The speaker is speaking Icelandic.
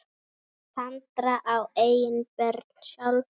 Sandra á engin börn sjálf.